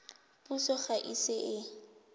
puso ga e ise e